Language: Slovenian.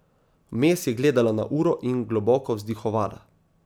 Vmes je gledala na uro in globoko vzdihovala.